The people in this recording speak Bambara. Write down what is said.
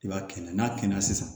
I b'a kɛ nakina sisan